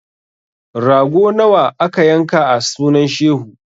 Rago nawa aka yanka a sunan shehu?